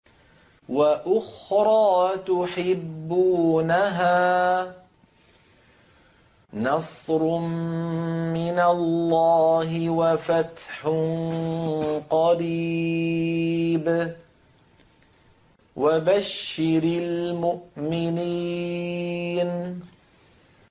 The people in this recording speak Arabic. وَأُخْرَىٰ تُحِبُّونَهَا ۖ نَصْرٌ مِّنَ اللَّهِ وَفَتْحٌ قَرِيبٌ ۗ وَبَشِّرِ الْمُؤْمِنِينَ